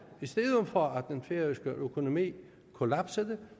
i stedet for at den færøske økonomi kollapsede